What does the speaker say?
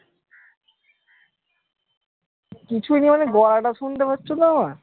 কিছুই নেই মানে গলাটা শুনতে পারছো তো আমার?